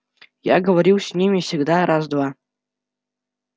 я говорил с ними всегда раз два